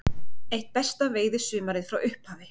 Eitt besta veiðisumarið frá upphafi